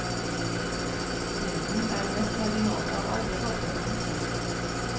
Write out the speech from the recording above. Sprinten er den mest marginale av alle padleøvelser.